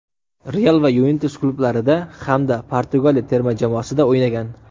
"Real" va "Yuventus" klublarida hamda Portugaliya terma jamoasida o‘ynagan.